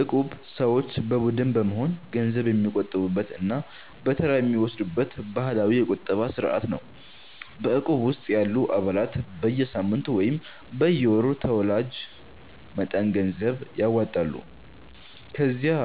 እቁብ ሰዎች በቡድን በመሆን ገንዘብ የሚቆጥቡበት እና በተራ የሚወስዱበት ባህላዊ የቁጠባ ስርዓት ነው። በእቁብ ውስጥ ያሉ አባላት በየሳምንቱ ወይም በየወሩ ተወላጅ መጠን ገንዘብ ያዋጣሉ። ከዚያ